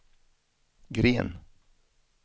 Green